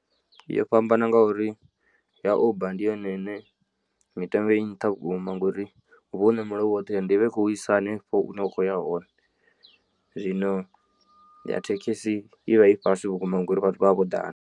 Yo fhambana ngauri ya uber ndi yone ine mitengo i nnṱha vhukuma ngori huvha wo ṋamela u woṱhe and i vha i khou isa hanefho hune wa kho ya hone zwino ya thekhisi i vha i fhasi vhukuma ngori vhathu vha vha vho ḓala.